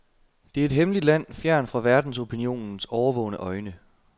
Det er et hemmeligt land, fjernt fra verdensopinionens årvågne øjne.